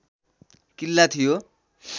किल्ला थियो